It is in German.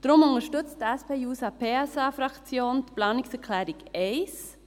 Deshalb unterstützt die SP-JUSO-PSA-Fraktion die Planungserklärung 1.